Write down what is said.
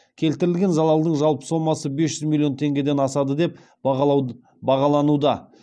келтірілген заладың жалпы сомасы бес жүз миллион теңгеден асады деп бағалануда